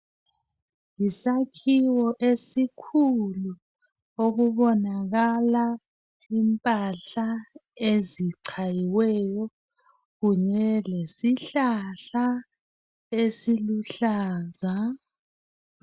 Yisakhiwo esikhulu okubonakala impahla ezichayiweyo kunye lesihlahla esiluhlaza.